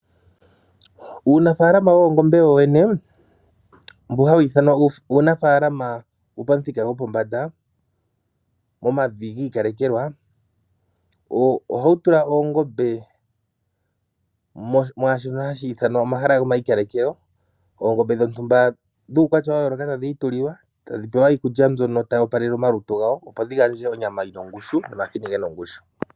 Uunafaalama woongombe wowene mboka hawu ithanwa uunafaalama wopamuthika gwopombanda momavi gi ikalekelwa ohawu tula oongombe mwaashono hashi ithanwa omahala go mayikalekelo. Oongombe dhontumba dhuukwatya wa yooloka tadhi itulilwa tadhi pewa iikulya mbyono tayi opalele omalutu gawo opo dhi gandje onyama yina ongushu nomahini gena ongushu.